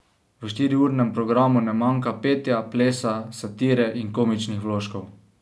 V štiriurnem programu ne manjka petja, plesa, satire in komičnih vložkov.